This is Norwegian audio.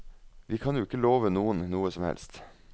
Vi kan jo ikke love noen noe som helst.